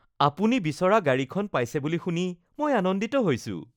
আপুনি বিচৰা গাড়ীখন পাইছে বুলি শুনি মই আনন্দিত হৈছো